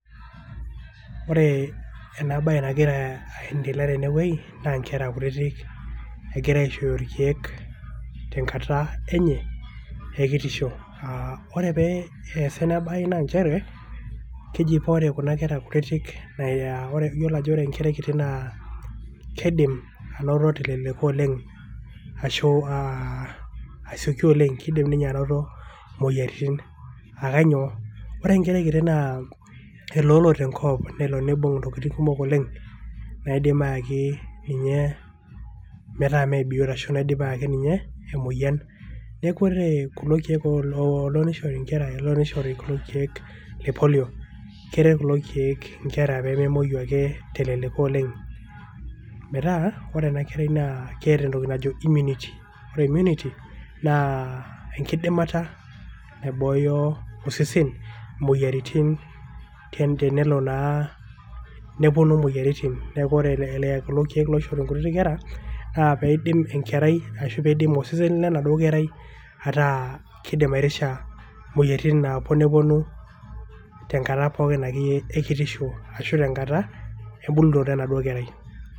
ore ena bae nagira aendelea tene wueji, naa nkera kutitik egirae aisho irkeek, te nkata enye ekitisho, ore pee eesa ena bae naa nchere, keji paa ore kuna keraa kutitik, iyiolo ajo ore enkerai kiti naa kidim anoto, teleleko oleng ashu asioki oleng. kidim ninye anoto moyiaritin. neeku ore kulo keek oolo nishori nkera. kulo keek lepolio, keret kulo keek, inkera pee memuoi ake teleleko oleng'.metaa ore ena kerai naa keeta entoki najo immunity ore immunity, naa enkidimata naibooyo osesen imoyiaritin.